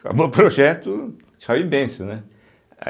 Acabou o projeto, tchau e benção, né?